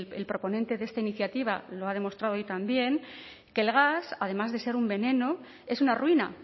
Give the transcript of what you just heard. el proponente de esta iniciativa lo ha demostrado hoy también que el gas además de ser un veneno es una ruina